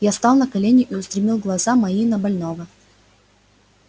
я стал на колени и устремил глаза мои на больного